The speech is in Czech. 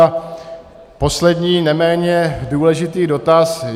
A poslední neméně důležitý dotaz: